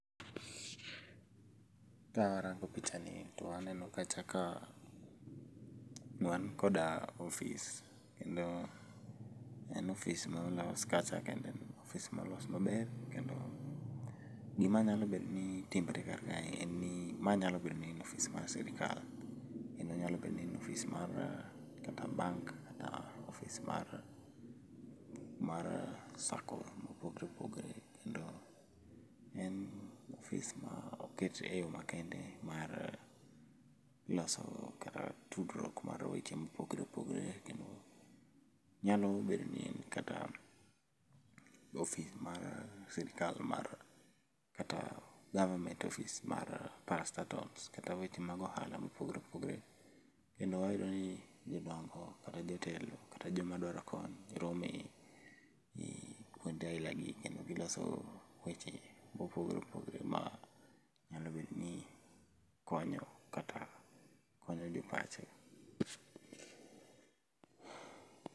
Ka arango picha ni to aneno kacha ka wan koda ofis kendo en ofis molos kacha kendo en ofis molos maber kendo gima nyalo bedo ni timore kar kae, en ni ma nyalo bedo ni en ofis mar sirkal. Kendo nyalo bedo ni en ofis kata mar bank kata mar sacco mopogore opogore. Kendo en ofis ma oket e yo makende mar loso kata tudruok mar weche mopogore opogore, kendo nyalo bedo ni en kata ofis mar sirkal mar kata government office mar parastatals kata weche mag ohala mopogore opogore. E ma wayudo ni jodongo kata jotelo kata joma dwaro kony rome gi kuonde aila gi kendo giloso weche mopogore opogore ma nyalo bedo ni konyo kata konyo jopacho.